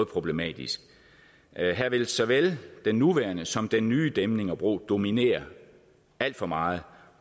problematisk her vil såvel den nuværende som den nye dæmning og bro dominere alt for meget